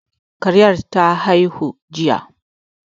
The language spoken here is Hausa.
Karen ta haihu jiya